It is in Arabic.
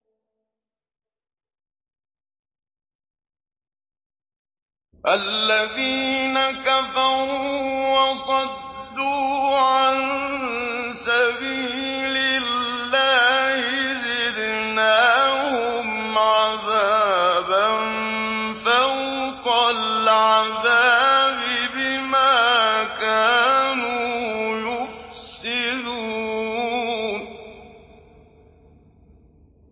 الَّذِينَ كَفَرُوا وَصَدُّوا عَن سَبِيلِ اللَّهِ زِدْنَاهُمْ عَذَابًا فَوْقَ الْعَذَابِ بِمَا كَانُوا يُفْسِدُونَ